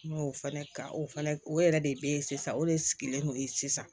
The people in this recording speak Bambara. N y'o fɛnɛ ka o fɛnɛ o yɛrɛ de be yen sisan o de sigilen no yen sisan